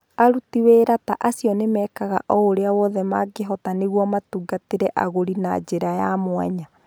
Aruti wĩra ta acio nĩ mekaga o ũrĩa wothe mangĩhota nĩguo matungatĩre agũri na njĩra ya mwanya.